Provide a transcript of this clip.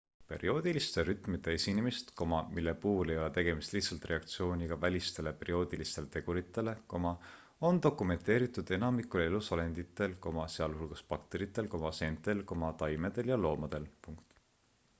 perioodiliste rütmide esinemist mille puhul ei ole tegemist lihtsalt reaktsiooniga välistele perioodilistele teguritele on dokumenteeritud enamikul elusolenditel sealhulgas bakteritel seentel taimedel ja loomadel